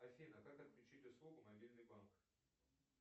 афина как отключить услугу мобильный банк